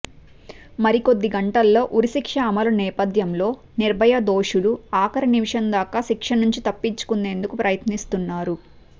మరికొద్ది గంటల్లో ఉరిశిక్ష అమలు నేపథ్యంలో నిర్భయ దోషులు ఆఖరి నిమిషం దాకా శిక్ష నుంచి తప్పించుకునేందుకు ప్రయత్నిస్తున్నారు